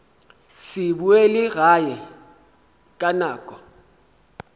se boele gae ka nako